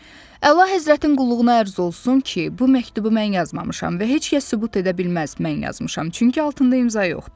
Əlahəzrətin qulluğuna ərz olsun ki, bu məktubu mən yazmamışam və heç kəs sübut edə bilməz mən yazmışam, çünki altında imza yoxdur.